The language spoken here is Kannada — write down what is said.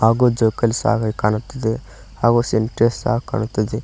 ಹಾಗೂ ಜೋಕಾಲಿ ಸಹ ಕಾಣುತ್ತಿದೆ ಹಾಗೂ ಸಿಂಟೆಕ್ಸ್ ಸಹ ಕಾಣುತ್ತಿದೆ.